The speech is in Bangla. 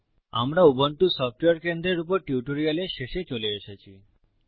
আমরা উবুন্টু সফটওয়্যার কেন্দ্রের উপর টিউটোরিয়ালের শেষে চলে এসেছি